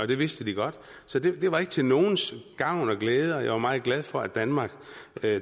det vidste de godt så det var ikke til nogens gavn og glæde og jeg var meget glad for at danmark